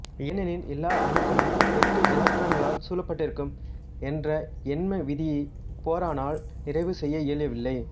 ஏனெனில் எல்லா அணுக்களும் எட்டு எலக்ட்ரான்களால் சூழப்பட்டிருக்கும் என்ற எண்ம விதியை போரானால் நிறைவு செய்ய இயலவில்லை